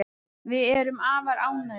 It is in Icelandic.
Við erum afar ánægðir